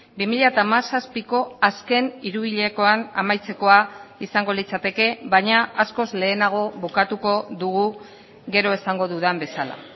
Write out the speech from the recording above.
bi mila hamazazpiko azken hiruhilekoan amaitzekoa izango litzateke baina askoz lehenago bukatuko dugu gero esango dudan bezala